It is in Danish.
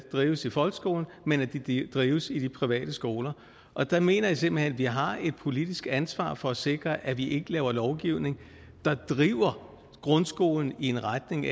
drives i folkeskolen men drives i de private skoler og der mener jeg simpelt hen at vi har et politisk ansvar for at sikre at vi ikke laver lovgivning der driver grundskolen i en retning